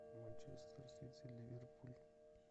манчестер сити ливерпуль